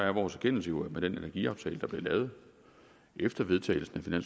vores erkendelse jo at med den energiaftale der blev lavet efter vedtagelsen af